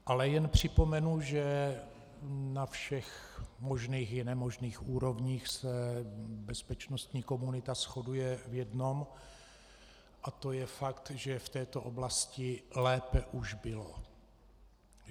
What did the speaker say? Ale jen připomenu, že na všech možných i nemožných úrovních se bezpečnostní komunita shoduje v jednom, a to je fakt, že v této oblasti lépe už bylo.